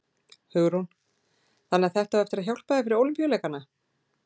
Hugrún: Þannig að þetta á eftir að hjálpa þér fyrir Ólympíuleikana?